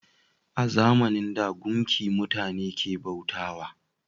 A zamanin da, gumki mutane ke bauta wa